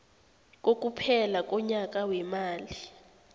kokuphela konyaka weemali